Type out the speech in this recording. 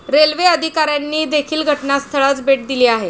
Railway अधिकाऱ्यांनी देखील घटनास्थळास भेट दिली आहे.